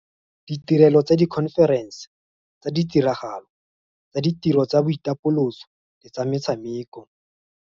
Ditirelo tsa dikhomferense, tsa ditiragalo, tsa ditiro tsa boitapoloso le tsa metshameko.